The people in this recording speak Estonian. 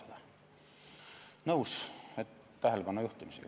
Olen nõus selle tähelepanu juhtimisega.